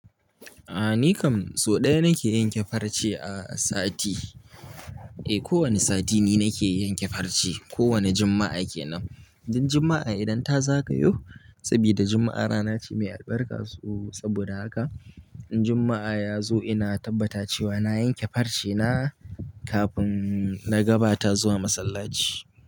A'a ni kam sau ɗaya nake yanke farce a sati. Eh ko wani sati ni nake yanke farce. Ko wane Juma'a kenan. Dan Juma'a idan ta zagayo, sabida Juma'a rana ce mai albarka saboda haka, in Juma'a ya zo ina tabbata cewa na yanke farce na kafin na gabata zuwa masallaci.